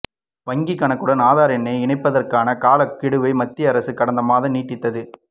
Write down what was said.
வங்கி கணக்குடன் ஆதார் எண்ணை இனைபதர்கான காலக் கெடுவை மத்திய அரசு கடந்த மாதம் நீட்டித்தது